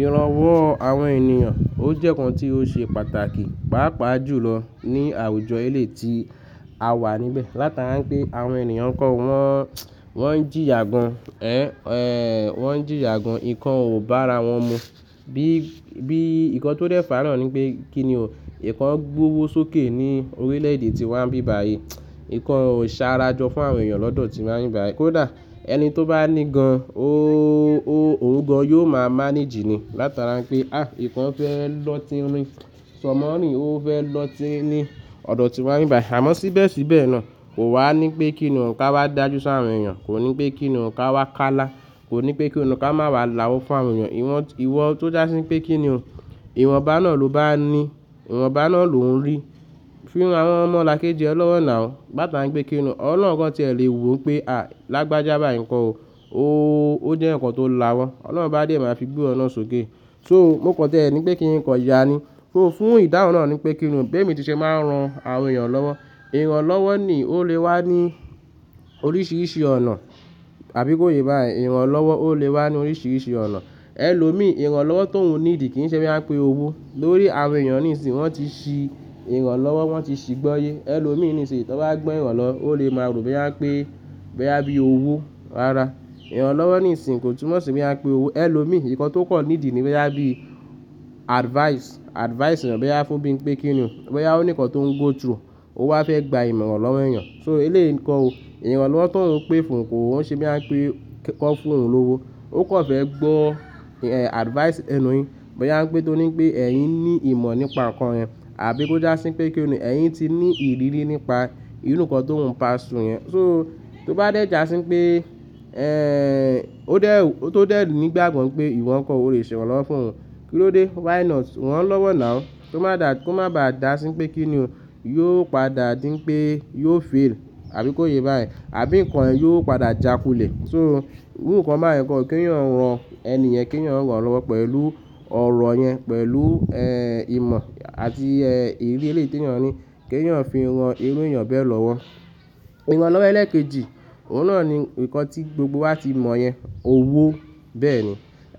Iranwọ àwọn ènìyàn, ó jẹ́ ǹkan tí ó ṣe pàtàkì, pàápàá jùlọ ní àwùjọ eléyìí ti a wà níbẹ̀. Látara pé àwọn ènìyàn kan wọ́n, wọ́n ń jìyà gan, ẹ̀, wọ́n ń jìyà gan, nǹkan ò bá ara wọn mu. Bí, bí ǹkan tó dẹ́fà nọ̀ ní pé kíni o, ǹkan gbówó sókè ní orílẹ̀ èdè tí wàá n bí bayìí, ǹkan ò ṣa ara jọ fún àwọn ènìyàn lọ́dọ̀ tí wàá n bí bayìí. Kódà ẹni tó bá ní gan, ooo, òun gan yóò máa manage ni, látara pé à í, ǹkan fẹ́ lọ́ tin ń rí, sọmọ ń rí, ó fẹ́ lọ́ ti ní ọ̀dọ̀ tí wàá bí bayìí. Àmọ́ síbẹ̀ síbẹ̀ náà kò wà ní pé kíni o nǹkan wá dájú fún àwọn ènìyàn, kò ní pé kíni o nǹkan wá ká lá, kò ní pé kíni o nǹkan máa wá la wọ́ fún àwọn ènìyàn. Iwọ́n, iwọ tó já sí pé kíni o, ìwọ̀nba náà ló bá ní, ìwọ̀nba náà lò ń rí. Fi ran àwọn ọmọ lakéjì ẹ lọ́wọ́ náà o, látara pé kíni o, Ọlọ́run gan tí ẹ lè wò pé a, lágbájá báyíi ǹkọ́ o, ooo, ó jẹ́ ǹkan tó lawọ́n. Ọlọ́run bá dé máa fi gbó ọ̀nà sókè. So mó kàn tó ẹ ní pé kíni ǹkan ya ni, kó fún ìdáhùn náà ní pé kíni o, bí èmi ti ṣe máa ń ran àwọn ènìyàn lọ́wọ́, ìranlọ́wọ́ ni ó lè wá ní oríṣiríṣi ọ̀nà. Àbí kó ye bá yẹn, ìranlọ́wọ́ ó lè wá ní oríṣiríṣi ọ̀nà. Ẹ lò mi, ìranlọ́wọ́ tóhuń níidì kì í ṣe bí a ń pè owó. Lórí àwọn ènìyàn nísinsìnyí wọ́n ti ṣi ìranlọ́wọ́, wọ́n ti ṣi gbọ́ye. Ẹ lò mi nísinsìnyí tó bá gbọ́ ìranlọwó lè máa rò bí a ń pè, bí a bí owó rara. Ìranlọ́wọ́ nísinsìnyí kò túnmọ̀ sí bí a ń pè owó. Ẹ lò mi, ǹkan tó pọ̀ nídì ni bí a bí advice. Advice ni bí a fún bí ń pé kíni o, bí a ní ǹkan tó ń go through, o wá fẹ́ gba ìmọ̀ran lọ́wọ́ ènìyàn. So eléyìí ǹkọ o, ìran lọ́wọ́ tóun ń pè fún n kò, ó ṣe bí a ń pè kọ fún òun lówó. Ó kàn fẹ́ gbọ́ advice ẹnu yìí, bí a ń pè tó ní pé ẹ̀yin ní ìmọ̀ nípa ǹkan yẹn, àbí kó já sí pé kíni o, ẹ̀yin ti ní ìrírí nípa ìrú ǹkan tó ń pa sun yẹn. So tó bá dé já sí pé, ẹ́ń, ó dẹ́, tó dẹ́ nígbàgbo pé ìwọ̀n ǹkan o, o lè ṣe ìran lọ́wọ́ fún òun. Kí ló dé? Why not? Răn lọ́wọ́ náà o. Tó bá dà, kó má ba à dà sí pé kíni o, yóò padà díń pé yóò fail, àbí kó ye bá yẹn, àbí nǹkan yẹn yóò padà jà kulẹ̀. So irú ǹkan bá ǹkan o, kí ẹ̀yàn ran ẹni ẹ̀yàn, kí ẹ̀yàn ran lọ́wọ́ pẹ̀lú ọ̀rọ̀ yẹn, pẹ̀lú, ẹ́, ìmọ̀ àti, ẹ́, ìrírí eléyìí tí ẹ̀yàn ní, kí ẹ̀yàn fi ran irú ènìyàn bẹ́ẹ̀ lọ́wọ́. Ìran lọ́wọ́ ẹlẹ́kejì, òun náà ni ǹkan tí gbogbo wa ti mọ̀ yẹn, owó bẹ́ẹ̀ ni.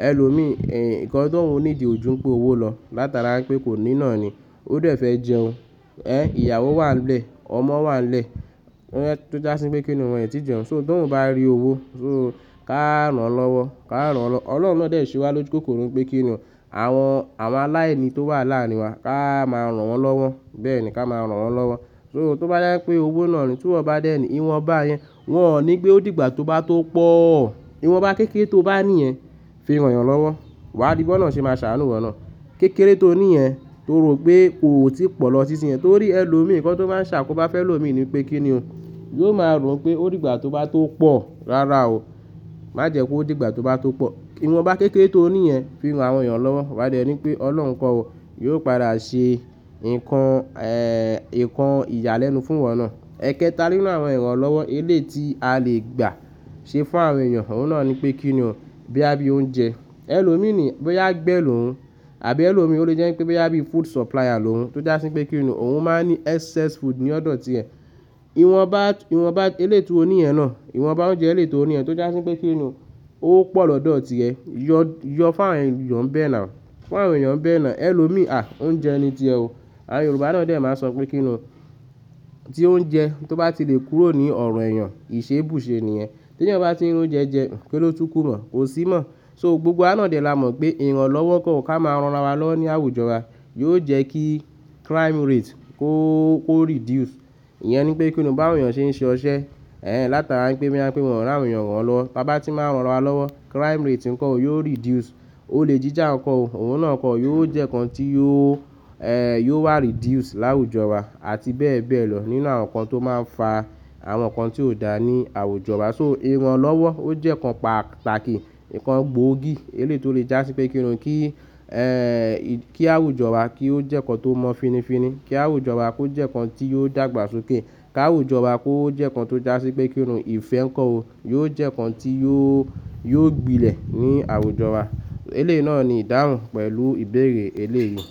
Ẹ lò mi, ẹ̀, ǹkan tó ń nídì ojú ń pè owó lọ látara pé kò ní ìná ni. Ó dẹ́ fẹ́ jẹun, ẹ́, ìyàwó wà nlẹ̀, ọmọ wà l nẹ́ẹ̀, ẹ́, tó já sí pé kíni wọn ẹn ti jẹun. So tó ń bá rí owó, so ká rán lọ́wọ́, ká rán lọ́wọ́. Ọlọ́run náà dé sí wa lójúkòkòrò pé kíni o, àwọn, àwọn aláìní tó wà láàrin wa ká máa rán wọn lọ́wọ́, bẹ́ẹ̀ ni ká máa rán wọn lọ́wọ́. So tó bá yá pé owó náà ni tí wọ́n bá dẹ́ni, ìwọ̀nba yẹn, wọ́n ò ní pé ó dìgbà tó bá tó pọ̀. Ìwọ̀nba kékeré tó bá ní yẹn fi ran ènìyàn lọ́wọ́, wà á rí b'ọ́lorun ṣe máa ṣàánú ìwọ̀ náà. Kékeré tó ní yẹn torí pé kò tíì pọ̀ lọ sísinyẹn, torí ẹ lò mi ǹkan tó máa ń ṣàkóbá fẹ́ lò mi ni pé kíni o, yóò máa rò pé ó dìgbà tó bá tó pọ̀ rara o. Má jẹ́ kó dìgbà tó bá tó pọ̀. Ìwọ̀nba kékeré tó ní yẹn fi ran àwọn ènìyàn lọ́wọ́, wà á dẹ́ri pé Ọlọ́run nkọ́ o yóò padà ṣe ǹkan, ẹ́, ǹkan ìyálẹ́nu fún wọ náà. Ẹ kẹta nínú àwọn ìran lọ́wọ́ eléyìí ti a lè gbà ṣe fún àwọn ènìyàn, òun náà ni pé kíni o, bí a bí oúnjẹ. Ẹ lò mi ni bí a gbẹ́ lòun, àbí ẹ lò mi ó lè jẹ́ pé bí a bí food supplier lòun, tó já sí pé kíni o, òun máa ń ní excess food ní ọ̀dọ̀ ti ẹ. Ìwọ̀nba, ìwọ̀nba eléyìí ti ó ní yẹn náà, ìwọ̀nba oúnjẹ eléyìí ti ó ní yẹn tó já sí pé kíni o, ó pọ̀ lọ̀dọ̀ ti ẹ, yọ, yọ fún àwọn ènìyàn nbẹ́ẹ̀ náà o, fún àwọn ènìyàn bẹ́ẹ̀ náà. Ẹ lò mi, à, oúnjẹ ni tí ẹ o. Àwọn Yorùbá náà ò dé máa sọ pé kíni o, tí oúnjẹ tó bá ti lè kúrò ní ọ̀rọ̀ èèyàn, ì ṣe bù ṣe nìyẹn. Tí ẹ̀yàn bá ti ń rí oúnjẹ jẹ, ki ló tú kúrò, kò sí mọ́. So gbogbo a náà dè lá mọ̀ pé ìran lọ́wọ́ kan ò ká máa ń ran wa lọ́wọ́ ní àwùjọ wa, yóò jẹ́ kí crime rate kó, kó reduce. Iyẹn ni pé kíni o, bá àwọn ènìyàn ṣe ń ṣe ọṣẹ, ẹ́, látara pé bí a ń pè wọ́n rán àwọn ènìyàn wọ́n lọ. Bá bá tí máa ń ran wa lọ́wọ́, crime rate ǹkọ́ o yóò reduce. Ó lè jíjà ǹkọ́ o, òun náà kọ́ yóò jẹ́ ǹkan tí yóò, ẹ́, yóò wá reduce láwùjọ wa àti bẹ́ẹ̀ bẹ́ẹ̀ lọ nínú àwọn ǹkan tó máa ń fa àwọn ǹkan tí ò dá ní àwùjọ wa. So ìranlọ́wọ́ ó jẹ́ ǹkan pàtàkì, ǹkan gbóògì eléyìí ti ó lè já sí pé kíni o, kí, ẹ́, kí àwùjọ wa kí ó jẹ́ ǹkan tó mọ́ finifini. Kí àwùjọ wa kó jẹ́ ǹkan tí yóò dàgbà sókè. Kí àwùjọ wa kó jẹ́ ǹkan tó já sí pé kíni o, ìfẹ́ ǹkọ́ o yóò jẹ́ ǹkan tí yóò, yóò gbilẹ̀ ní àwùjọ wa. Eléyìí náà ni ìdáhùn pẹ̀lú ìbéèrè eléyìí.